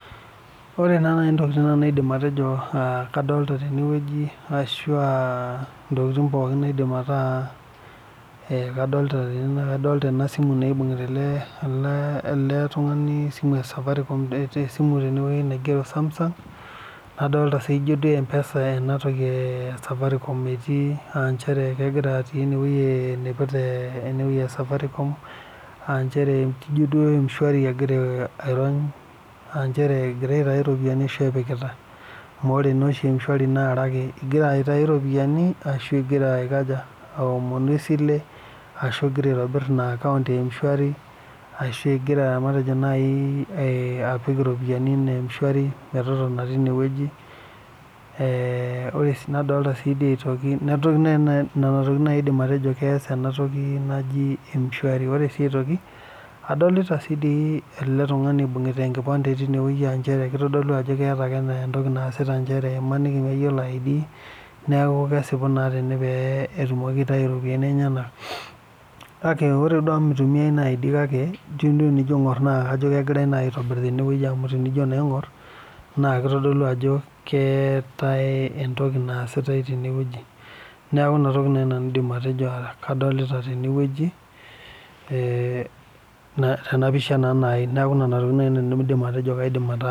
Ore naa naaji ntokitin naidim atejo kadolita tenewueji ashu ntokitin kadolita tene naa kadolita eibungita ele tung'ani ee esimu naigero Samsung nadolita ejio sii enatoki ee safaricom etii aa njere kegira atii enewueji ijio dum m_shwari egira airony egira aitau eropiani ashu epikitae amu ore naa oshi m_shwari naa are ake egira aitau eropiani egira aomonj esile ashu egira aitobir ena acooun ee m_shwari ashu egira apik eropiani ena m_shwari metotona teine Nena tokitin naaji aidim atejo keas ena toki naaji m_shwari ore sii aitoki adolita si ele tung'ani eibungita enkipande kitodolu Ajo keeta ake entoki naasita emaniki meyiolo id neeku kesipu naa petumoki aitau eropiani enyena kake ore naa amu mitumiai id kake tenijo naa aing'or kajo kegirai aitobir tene amu tenijo naa aing'or keetae entoki naasitae tenewueji neeku enatoki naaji nanu aidim atejo kadolita tenewueji ena pisha naajii neeku Nena tokitin naaji nanu aidim atejo kadolita